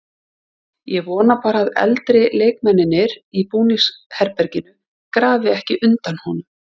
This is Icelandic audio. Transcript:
Ég vona bara að eldri leikmennirnir í búningsherberginu grafi ekki undan honum.